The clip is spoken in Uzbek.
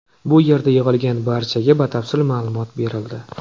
Bu yerda yig‘ilgan barchaga batafsil ma’lumot berildi.